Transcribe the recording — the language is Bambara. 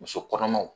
Muso kɔnɔmaw